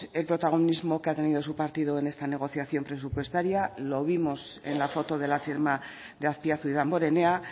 el protagonismo que ha tenido su partido en esta negociación presupuestaria lo vimos en la foto de la firma de azpiazu y damborenea